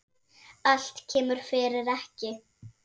Allt kemur fyrir ekki.